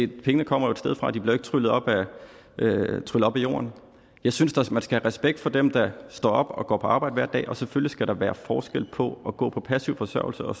pengene kommer et sted fra de bliver jo ikke tryllet op af jorden jeg synes man skal have respekt for dem der står op og går på arbejde hver dag og selvfølgelig skal der være forskel på at gå på passiv forsørgelse og